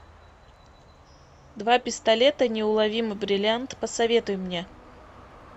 два пистолета неуловимый бриллиант посоветуй мне